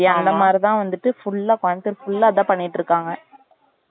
அந்த மாதிரி தான் வந்துட்டு full ஆ பாத்து full ஆ அதான் பண்ணிட்டு இருகாங்க